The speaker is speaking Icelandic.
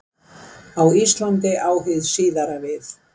Á Íslandi á hið síðara við.